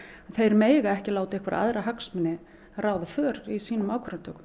þeir mega ekki láta einhverja aðra hagsmuni ráða för í sínum ákvarðanatökum